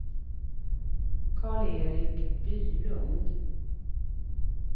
Karl-Erik Bylund